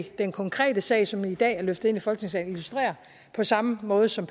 den konkrete sag som i dag er løftet ind i folketingssalen illustrerer på samme måde som